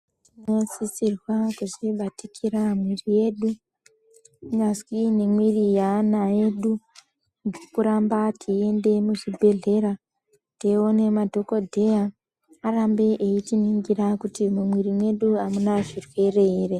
Tinosisirwa kuzvibatikira mwiri yedu kunyazwi nemwiri yeana edu. Ngekuramba teiende muzvibhedhlera teione madhokodheya arambe eitiningira kuti mumwiri mwedu amuna zvirwere .